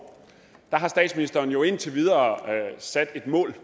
har statsministeren jo indtil videre sat et mål